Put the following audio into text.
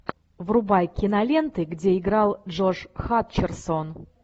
врубай киноленты где играл джош хатчерсон